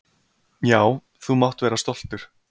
Já, þú mátt vera stoltur.